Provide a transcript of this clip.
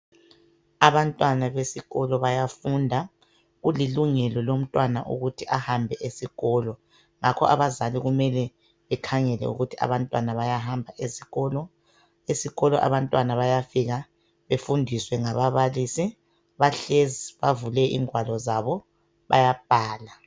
Abantwana besikolo bayafunda. Kulilungelo lomntwana ukuthi ahambe esikolo. Ngakho abazali kumele bekhangele ukuthi abantwana bayahamba esikolo. Esikolo abantwana bayafika befundiswe ngababalisi. Bahlezi bavule ingwalo zabo, bayabhala.